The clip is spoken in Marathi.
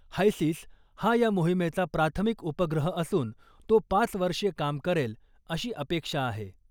हायसिस हा या मोहिमेचा प्राथमिक उपग्रह असून , तो पाच वर्षे काम करेल , अशी अपेक्षा आहे .